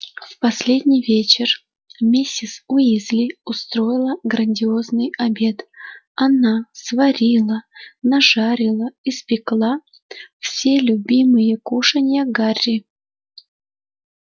в последний вечер миссис уизли устроила грандиозный обед она сварила нажарила испекла все любимые кушанья гарри